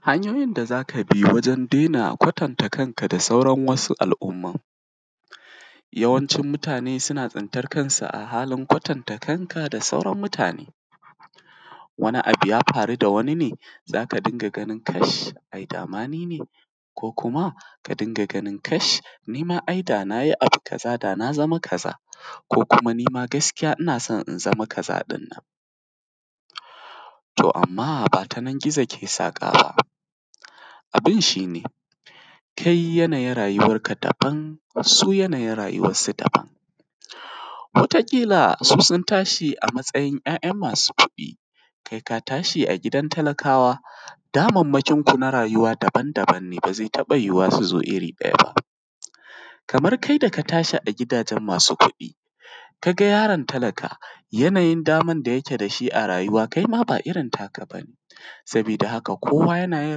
Hanyoyin da za ka bi wajen dena kwatanta kanka da sauran wasu al’umman. Yawancin mutane suna tsintan kansu a halin kwatanta kanka da sauran mutane wani abun ya faru da wanin kash ai da ma ni ne ko ka dinga ganin kash ni ma ai da na yi abu kaza da na zama kaza, ko kuma ni ma gaskiya ina son in zama kaza. To, amma ba tanan gizo ke saƙan ba abin shi ne kai yanayin rayuwarka daban su yanayi rayuwarsu daban, wata ƙila su sun tashi a matsayin ‘ya’ya masu kuɗi kai ka tashi a gidan talakawa. Damammakinka na rayuwa daban-daban ne ba ze taɓa yiwuwa iri ɗaya ba kamar kai da ka tashi a gidajen masu kuɗi, ka ga yaron talaka yanayin daman da yake da shi a rayuwa kai ma ba irin taka ba ne, sabida haka kowa yanayin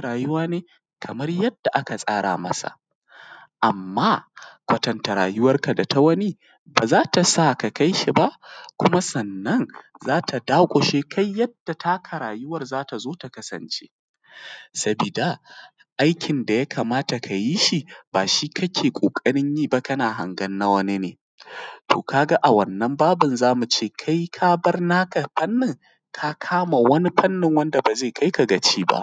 rayuwa ne kamar yadda aka tsara masa. Amma kwatanta rayuwarka da na wani ba zai sa ka kai shi ba kuma sannan kuma za ta dakushe kai yadda rayuwan naka za ta zo ta kasance, sabida aikin da ya kamata ka yi shi ba shi kake ƙoƙarin yi ba. Kana hangan na wani ne to ka ga a wannan babin za mu ce kai ka bar naka, wannan fannin ka kama wani fannin wanda ba naka ba ze kai ka gaciba.